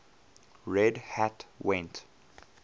red hat went